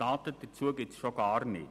Daten dazu gibt es schon gar nicht.